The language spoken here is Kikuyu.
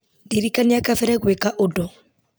ndirikania kabere gwĩka ũndũ